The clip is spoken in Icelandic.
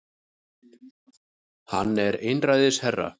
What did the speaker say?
Hann er einræðisherra